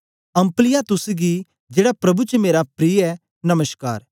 Ampliatus गी जेड़ा प्रभु च मेरा प्रिय ऐ नमश्कार